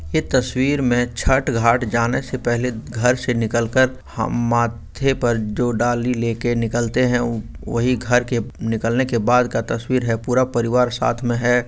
इस तस्वीर में छट घाट जाने से पहले घरसे निकल कर हम मा-माथे पर जो डाली लेके निकलते है वो-वोही घरके निकलने बाद का तस्वीर है पूरा परिवार साथ में है।